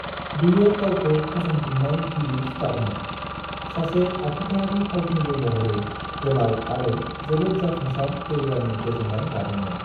बियो गावखौ फसंफिन्नाय गिबि स्टारमोन, सासे आखुथायारि फावखुंगुर महरै गोलाव आरो जोबोद जाफुंसार केरियारनि गोजोन्नाय लादोंमोन।